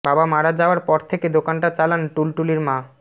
বাবা মারা যাওয়ার পর থেকে দোকানটা চালান টুলটুলির মা